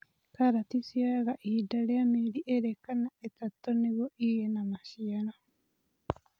Karati ciyoga ihinda rĩa mĩeri ĩĩrĩ kana ĩtatũ nĩguo ĩgĩe na maciaro.